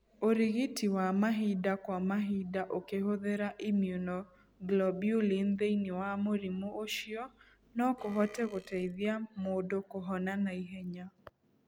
Ũrigiti wa mahinda kwa mahinda ũkĩhũthĩra immunoglobulin thĩinĩ wa mũrimũ ũcio no kũhote gũteithia mũndũ kũhona naihenya.